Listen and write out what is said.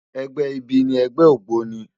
Ègbè ibi ni ègbè ógbóni